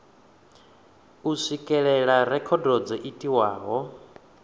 u swikelela rekhodo dzo itiwaho